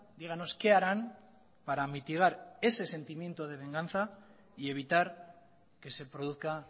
dígannos qué harán para mitigar ese sentimiento de venganza y evitar que se produzca